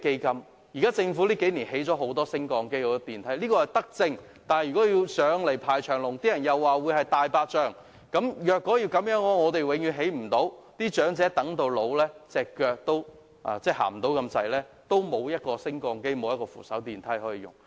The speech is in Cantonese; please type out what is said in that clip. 近數年，政府設置了很多升降機和電梯，這是德政，但如果乘搭要排長龍，人們又會說是"大白象"工程，這樣，恐怕永遠都不能成事，長者行動不便，仍無升降機或扶手電梯可用。